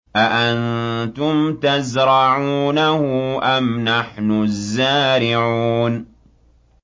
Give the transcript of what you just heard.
أَأَنتُمْ تَزْرَعُونَهُ أَمْ نَحْنُ الزَّارِعُونَ